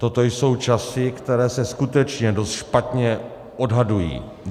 Toto jsou časy, které se skutečně dost špatně odhadují.